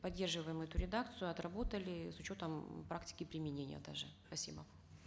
поддерживаем эту редакцию отработали с учетом практики применения даже спасибо